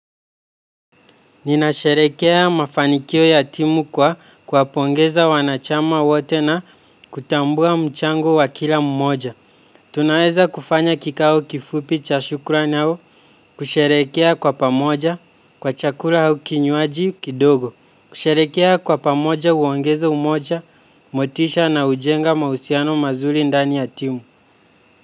Ninasherehekea mafanikio ya timu kwa kwa pongeza wanachama wote na kutambua mchango wa kila mmoja. Tunaweza kufanya kikao kifupi cha shukrani au kusherehekea kwa pamoja kwa chakula au kinywaji kidogo. Kusherehekea kwa pamoja huongeza umoja motisha na hujenga mahusiano mazuri ndani ya timu.